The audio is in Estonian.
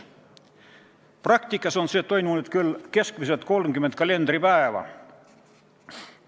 Praktikas on see aeg kestnud küll keskmiselt 30 kalendripäeva.